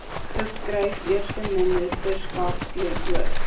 geskryf eersteministerskap teenoor